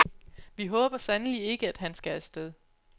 Vi håber sandelig ikke, at han skal afsted.